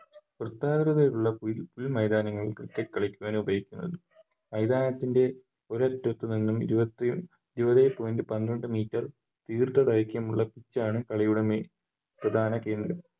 വൃത്താകൃതിയിലുള്ള മൈതാനങ്ങൾ ആണ് Cricket കളിക്കാൻ ഉപയോഗിക്കുന്നത് മൈതാനത്തിൻറെ ഒരറ്റത്തുനിന്നും ഇരുപത്തി ഏഴേ Point പന്ത്രണ്ട് Meter ദീർഘ ദൈർഘ്യമുള്ള Pitch ആണ് കളിയുടെ Main പ്രധാന കേന്ദ്രം